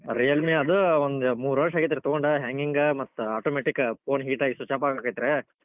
Realme ಆದ್ ಒಂದ್ ಮೂರ್ ವರ್ಷ್ ಆಗಿತ್ರೀ ತೊಗೊಂಡ hanging ಮತ್ automatic phone heat ಆಗಿ switch off ಆಗಾಕತ್ ರೀ,